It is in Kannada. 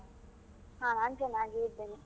ಹಾ ನಾನ್ ಚೆನ್ನಾಗಿ ಇದ್ದೇನೆ.